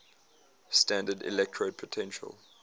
standard electrode potential